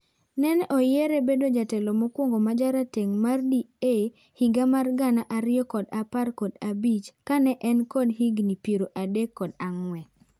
Nen oyiere bedo jatelo mokwongo mjareteng' mar DA higa mar gana ariyo kod apar kod abich ka ne en kod higi piero adek kod ang'wen.